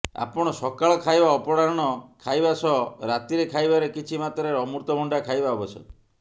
ଆପଣ ସକାଳ ଖାଇବା ଅପରାହ୍ଣ ଖାଇବା ସହ ରାତିରେ ଖାଇବାରେ କିଛି ମାତ୍ରାରେ ଅମୃତଭଣ୍ଡା ଖାଇବା ଆବଶ୍ୟକ